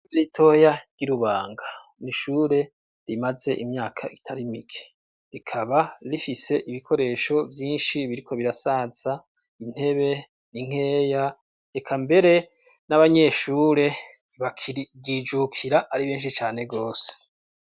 Ishure ritoya ry'i Rubanga, n'ishure rimaze imyaka itarimike, rikaba rifise ibikoresho vyinshi biriko birasaza, intebe ni nkeya, reka mbere n'abanyeshure ntbaryijukira ari benshi cane gose.